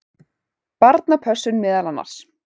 Barnapössun meðal annars.